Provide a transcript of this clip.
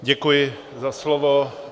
Děkuji za slovo.